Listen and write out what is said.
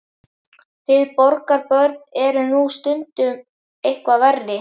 Þið borgarbörn eruð nú stundum eitthvað verri.